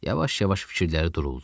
Yavaş-yavaş fikirləri duruldu.